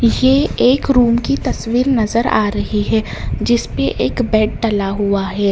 ये एक रूम की तस्वीर नजर आ रही है जिसपे एक बेड डला है।